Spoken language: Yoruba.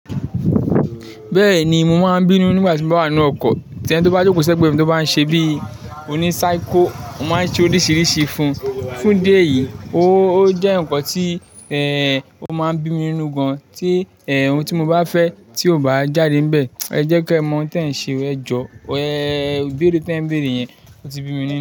Bẹ́ẹ̀ni mo máa ń bínú nígbà tí mo bá wà nínú ọkọ̀, tí ẹniti ó bá jókòó sẹ́gbẹ̀ẹ́ mi tó bá ń ṣe bí i oní psycho, mo máa ń ṣe oríṣiríṣi fún un. Fún idi eyìí ó jẹ́ nǹkan tí ò máa ń bí mi ninú gan an tí ohun tí mo bá fẹ́ tí kò bá jáde níbẹ̀, ẹ jẹ́kẹ́ ẹ mọ ohun tí ẹ ń ṣe, ẹ jọ, ẹ ibeẹ̀rù tí ẹ ń bẹ̀re yẹn, ó ti bí mi nínú.